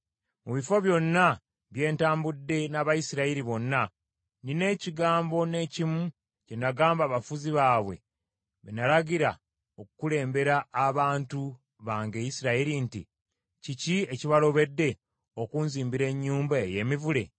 Mu bifo byonna bye ntambudde n’Abayisirayiri bonna, nnina ekigambo n’ekimu kye nagamba abafuzi baabwe be nalagira okukulembera abantu bange, Isirayiri nti, “Kiki ekibalobedde okunzimbira ennyumba ey’emivule?” ’